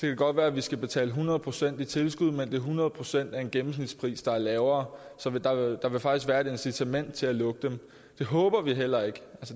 det godt være vi skal betale hundrede procent i tilskud men det er hundrede procent af en gennemsnitspris der er lavere så der vil faktisk være et incitament til at lukke dem